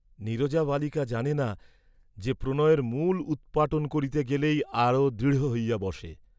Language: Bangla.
নীরজা বালিকা জানে না যে, প্রণয়ের মূল উৎপাটন করিতে গেলেই আরো দৃঢ় হইয়া বসে।